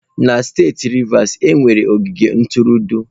Na steeti Rivers, e nwere ogige ntụrụndụ.